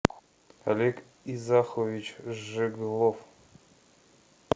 олег изахович жеглов